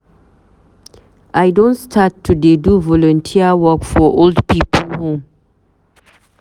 I don start to dey do volunteer work for old pipu home.